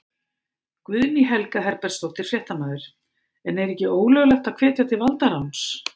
Guðný Helga Herbertsdóttir, fréttamaður: En er ekki ólöglegt að hvetja til valdaráns?